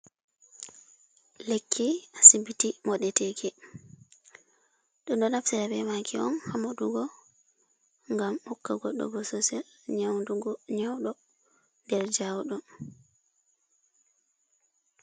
Lekki asibiti modeteeki. Ɗo ɗo naftira bee maaki on, haa moɗugo, gam hokka goɗɗo bososel nyaudugo, nyauɗo der njawɗum.